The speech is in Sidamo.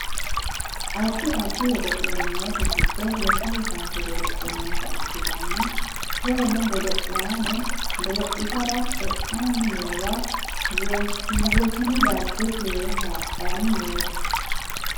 addi addi godo'le noote giddo lekkate kaase godo'le noota ikkitanna koyeeno godo'laano godo'litara e'anni noowa wosinu dagge keere haadhanni noota